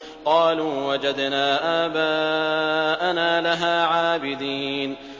قَالُوا وَجَدْنَا آبَاءَنَا لَهَا عَابِدِينَ